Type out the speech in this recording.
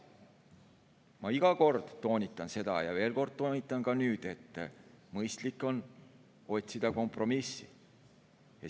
Ma iga kord toonitan seda, ja toonitan nüüd veel kord, et mõistlik on otsida kompromissi.